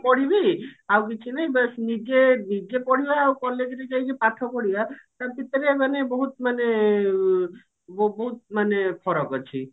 ପଢିବି ଆଉ କିଛି ନାଇଁ ବାସ୍ ନିଜେ ନିଜେ ପଢିବା ଆଉ college ରେ ଯାଇକି ପାଠ ପଢିବା ତା ଭିତରେ ମାନେ ବହୁତ ମାନେ ଅ ବହୁତ ମାନେ ଫରକ ଅଛି